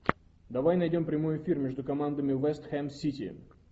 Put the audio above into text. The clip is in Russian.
давай найдем прямой эфир между командами вест хэм сити